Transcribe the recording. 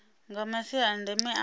nga masia a ndeme a